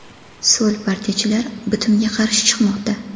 So‘l partiyachilar bitimga qarshi chiqmoqda.